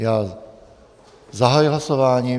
Já zahajuji hlasování.